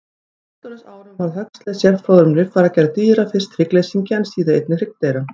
Á fullorðinsárum varð Huxley sérfróður um líffæragerð dýra, fyrst hryggleysingja en síðar einnig hryggdýra.